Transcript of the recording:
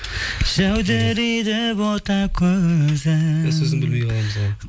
жәудірейді бота көзің